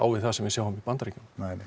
við sem við sáum í Bandaríkjunum